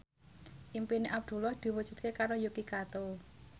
impine Abdullah diwujudke karo Yuki Kato